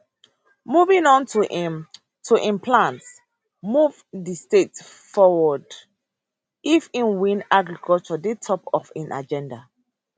moving on to im to im plans move di state forward if im win agriculture dey top for im agenda